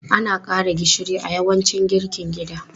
Ana ƙara gishiri a yawancin girkin gida.